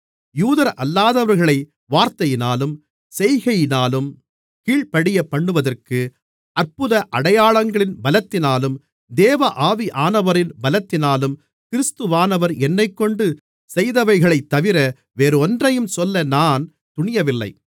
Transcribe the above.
யூதரல்லாதவர்களை வார்த்தையினாலும் செய்கையினாலும் கீழ்ப்படியப்பண்ணுவதற்கு அற்புத அடையாளங்களின் பலத்தினாலும் தேவ ஆவியானவரின் பலத்தினாலும் கிறிஸ்துவானவர் என்னைக்கொண்டு செய்தவைகளைத்தவிர வேறொன்றையும் சொல்ல நான் துணியவில்லை